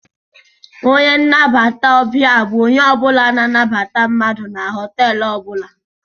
A receptionist is a person who welcome's people inside the hotel.